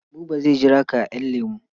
Buba zai jira ka a ƴan lemu.